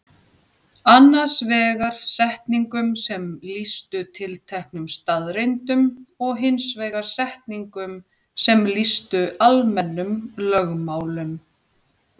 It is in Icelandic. Annars vegar setningum sem lýstu tilteknum staðreyndum og hins vegar setningum sem lýstu almennum lögmálum.